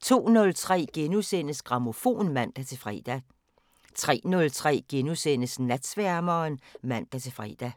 02:03: Grammofon *(man-fre) 03:03: Natsværmeren *(man-fre)